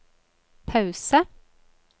pause